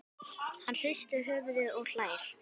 Hann hristir höfuðið og hlær.